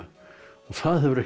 það hefur ekkert